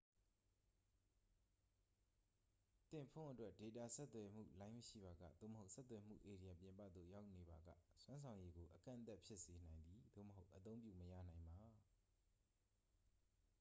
သင့်ဖုန်းအတွက် ဒေတာဆက်သွယ်မှုလိုင်းမရှိပါက သို့မဟုတ် ဆက်သွယ်မှုဧရိယာပြင်ပသို့ ရောက်နေပါက စွမ်းဆောင်ရည်ကို အကန့်အသတ်ဖြစ်စေနိုင်သည် သို့မဟုတ် အသုံးပြုမရနိုင်ပါ